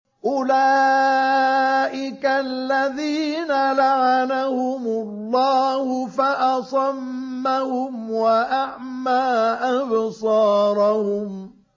أُولَٰئِكَ الَّذِينَ لَعَنَهُمُ اللَّهُ فَأَصَمَّهُمْ وَأَعْمَىٰ أَبْصَارَهُمْ